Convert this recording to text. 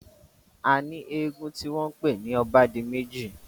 A ní eégún tí wọ́n pè ní obádimẹ́ji.